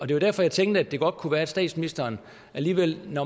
det var derfor jeg tænkte at det godt kunne være at statsministeren alligevel ved